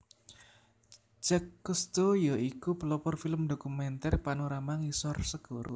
Jacque Cousteau ya iku pelopor film dokumenter panorama ngisor segara